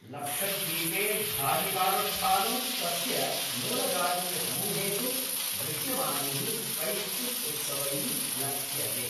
लक्षद्वीपे धार्मिकानुष्ठानं तस्य मूलजातीयसमूहेषु दृश्यमानैः कैश्चिद् उत्सवैः लक्ष्यते।